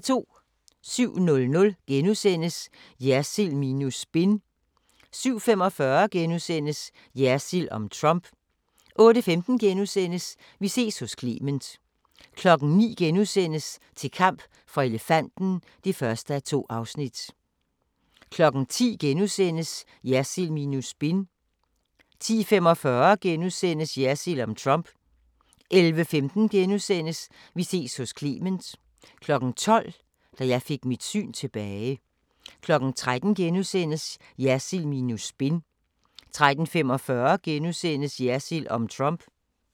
07:00: Jersild minus spin * 07:45: Jersild om Trump * 08:15: Vi ses hos Clement * 09:00: Til kamp for elefanten (1:2)* 10:00: Jersild minus spin * 10:45: Jersild om Trump * 11:15: Vi ses hos Clement * 12:00: Da jeg fik mit syn tilbage 13:00: Jersild minus spin * 13:45: Jersild om Trump *